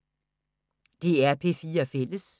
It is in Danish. DR P4 Fælles